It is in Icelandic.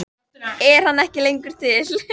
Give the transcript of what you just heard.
Er hann ekki lengur til?